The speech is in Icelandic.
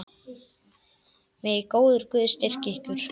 Megi góður Guð styrkja ykkur.